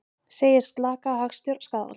Segir slaka hagstjórn skaðvald